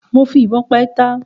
Mo fi ìbon pa ẹtà